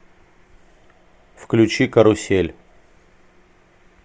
включи карусель